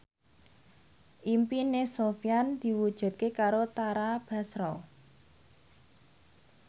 impine Sofyan diwujudke karo Tara Basro